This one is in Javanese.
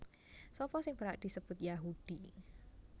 Sapa sing berhak disebut Yahudi